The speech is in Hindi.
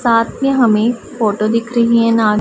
साथ मे हमें फोटो दिख रहीं हैं ना--